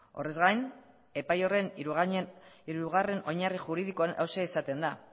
horrez gain epai horren hirugarren oinarri juridikoan hauxe esaten da